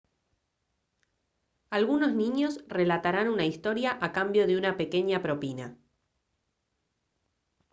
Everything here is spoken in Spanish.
algunos niños relatarán una historia a cambio de una pequeña propina